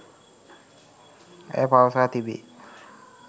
ඇය පවසා තිබේ.